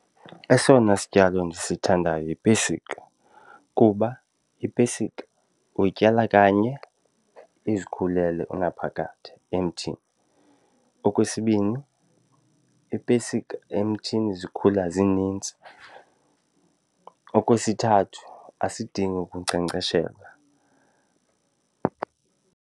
Esona sityalo ndisithandayo yipesika kuba ipesika uyityala kanye izikhulele unaphakade emthini. Okwesibini iipesika emthini zikhula zinintsi. Okwesithathu azidingi ukunkcenkceshelwa.